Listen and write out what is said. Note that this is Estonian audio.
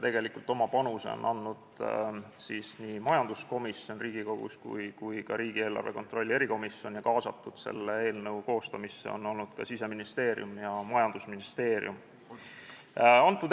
Tegelikult on oma panuse andnud nii majanduskomisjon Riigikogus kui ka riigieelarve kontrolli erikomisjon, samuti on selle eelnõu koostamisse olnud kaasatud Siseministeerium ja majandusministeerium.